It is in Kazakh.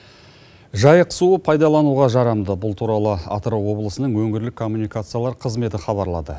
жайық суы пайдалануға жарамды бұл туралы атырау облысының өңірлік коммуникациялар қызметі хабарлады